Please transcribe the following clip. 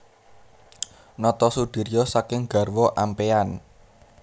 Notosudiryo saking garwa ampéyan